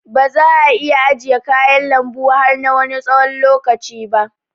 Baza ' a iya ajiye kayan lanbu har na Wani tsawon lokaci ba.